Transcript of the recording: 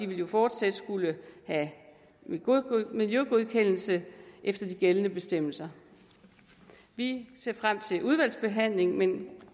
vil jo fortsat skulle have en miljøgodkendelse efter de gældende bestemmelser vi ser frem til udvalgsbehandlingen men